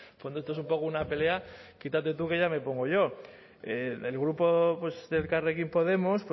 no en el fondo esto es un poco una pelea quítate tú que ya me pongo yo el grupo pues de elkarrekin podemos